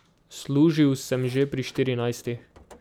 Služil sem že pri štirinajstih.